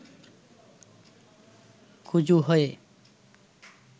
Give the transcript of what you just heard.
কুঁজো হয়ে